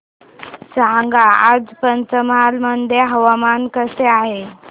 सांगा आज पंचमहाल मध्ये हवामान कसे आहे